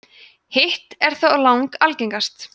hitt er þó lang algengast